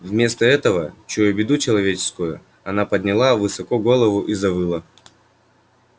вместо этого чуя беду человеческую она подняла высоко голову и завыла